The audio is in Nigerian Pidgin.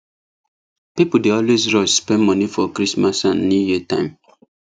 people dey always rush spend money for christmas and new year time